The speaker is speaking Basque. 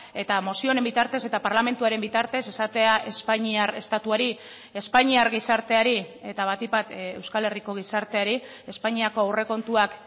eta mozio honen bitartez eta parlamentuaren bitartez esatea espainiar estatuari espainiar gizarteari eta batik bat euskal herriko gizarteari espainiako aurrekontuak